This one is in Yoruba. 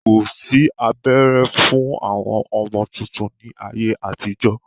Kosi abẹ́rẹ́ fún àwọn ọmọ tuntun ni ayé àtijọ́.